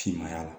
Finmaya la